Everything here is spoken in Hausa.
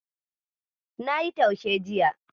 Nayi taushe jiya.